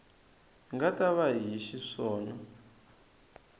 nga ta va hi xiswona